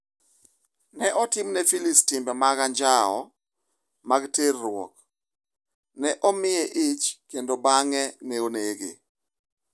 Ne otimne Phylis timbe anjawo mag terruok, ne omiye ich kendo bang’e ne onege.